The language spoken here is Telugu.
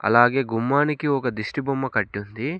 అలాగే గుమ్మానికి ఒక దిష్టిబొమ్మ కట్టుంది.